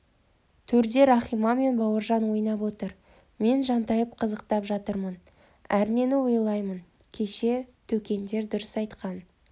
төрде рахима мен бауыржан ойнап отыр мен жантайып қызықтап жатырмын әрнені ойлаймын кеше төкендер дұрыс айтқан